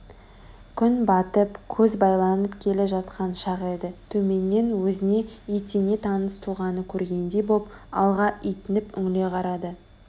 күн батып көз байланып келе жатқан шақ еді төменнен өзіне етене таныс тұлғаны көргендей боп алға итініп үңіле қарады